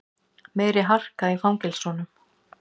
Meiri harka í fangelsunum